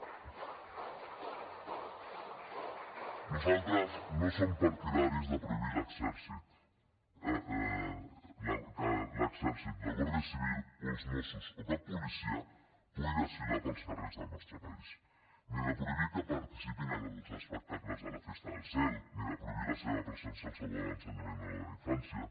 nosaltres no som partidaris de prohibir que l’exèrcit la guàrdia civil o els mossos o cap policia pugui desfilar pels carrers del nostre país ni de prohibir que participin en els espectacles de la festa del cel ni de prohibir la seva presència al saló de l’ensenyament o al de la infància